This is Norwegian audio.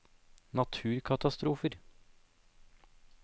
naturkatastrofer